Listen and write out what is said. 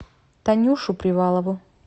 танюшу привалову